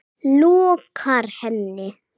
lokar henni.